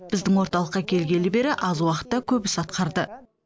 біздің орталыққа келгелі бері аз уақытта көп іс атқарды